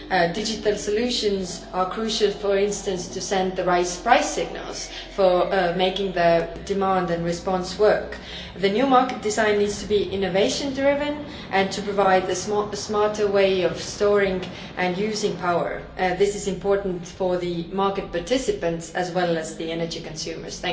Digital solutions are crucial, for instance, to send the right price signals for making demand and response work. The new market design needs to be innovation driven and to provide a smarter way of storing and using power. This is important for the market participants as well as energy consumers.